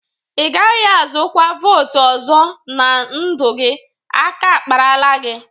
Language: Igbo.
Ị gaghị azụkwa votu ọzọ na ndụ gị. Aka akparala gi!